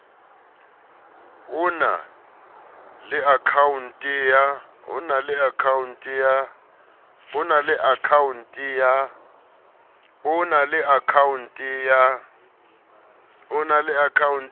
o na le akhaonte ya